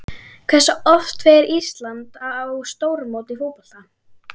Hversu oft fer Ísland á stórmót í fótbolta?